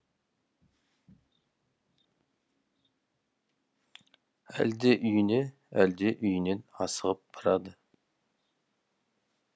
әлде үйіне әлде үйінен асығып барады